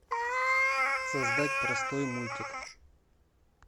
создать простой мультик